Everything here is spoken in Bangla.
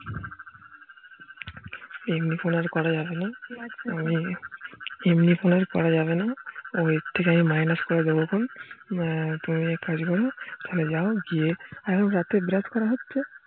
এমনি phone আর করা যাবে না এমনি phone আর করা যাবে না আমি এর থেকে minus করে দেব খান তুমি এক কাজ করো তালে যাও রাতে brush করা হচ্ছে